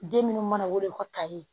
Den minnu mana wolo ka taa ye